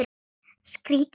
Skrýtið allt saman.